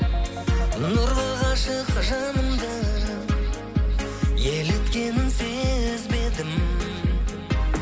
нұрлы ғашық жанымды еліткенін сезбедім